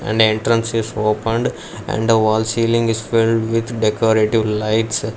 And entrance is opened and the wall ceiling is filled with decorative lights.